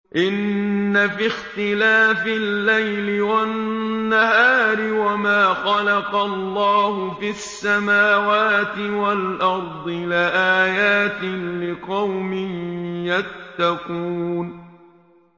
إِنَّ فِي اخْتِلَافِ اللَّيْلِ وَالنَّهَارِ وَمَا خَلَقَ اللَّهُ فِي السَّمَاوَاتِ وَالْأَرْضِ لَآيَاتٍ لِّقَوْمٍ يَتَّقُونَ